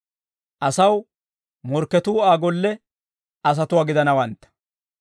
asaw morkketuu Aa golle asatuwaa gidanawantta.